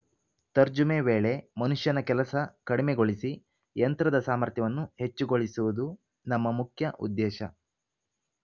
ತರ್ಜುಮೆ ವೇಳೆ ಮನುಷ್ಯನ ಕೆಲಸ ಕಡಿಮೆಗೊಳಿಸಿ ಯಂತ್ರದ ಸಾಮರ್ಥ್ಯವನ್ನು ಹೆಚ್ಚುಗೊಳಿಸುವುದು ನಮ್ಮ ಮುಖ್ಯ ಉದ್ದೇಶ